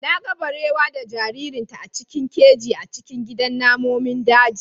Na ga barewa da jaririnta a cikin keji a cikin gidan namomin daji.